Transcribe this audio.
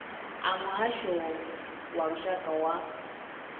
a muhasho wa lushaka wa